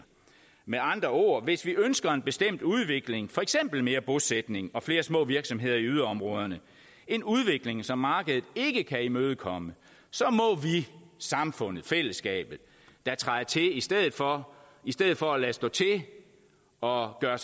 med andre ord hvis vi ønsker en bestemt udvikling for eksempel mere bosætning og flere små virksomheder i yderområderne en udvikling som markedet ikke kan imødekomme så må vi samfundet fællesskabet da træde til i stedet for stedet for at lade stå til og gøre